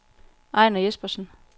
Ejner Jespersen